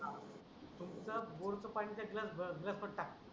नुस्त बोर च पानी त्या गिलास भ गिलास टाक.